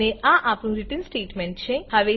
અને આ આપણું રીટર્ન સ્ટેટમેંટ છે